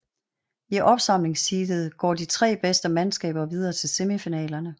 I opsamlingsheatet går de tre bedste mandskaber videre til semifinalerne